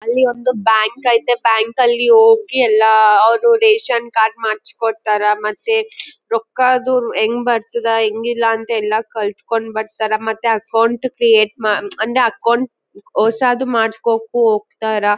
ಅಲ್ಲಿ ಒಂದು ಬ್ಯಾಂಕ್ ಐತೆ ಬ್ಯಾಂಕ್ ಅಲ್ಲಿ ಹೋಗಿ ಎಲ್ಲ ಅವ್ರು ರೇಷನ್ ಕಾರ್ಡ್ ಮಾಡಿಸಿ ಕೊಡ್ತಾರಾ ಮತ್ ರೊಕ್ಕ ಅದು ಹೆಂಗ್ ಬರ್ತದ ಹೆಂಗ್ ಇಲ್ಲ ಅಂದ್ ಎಲ್ಲ ಕಲ್ತಕೊಂಡು ಬರ್ತಾರಾ ಮತ್ತೆ ಅಕೌಂಟ್ ಕ್ರಿಯೇಟ್ ಮಾಡ ಅಂದ್ರೆ ಅಕೌಂಟ್ ಹೊಸಾದ್ ಮಾಡಿಸ್ಕೊಕು ಹೋಗ್ತಾರಾ .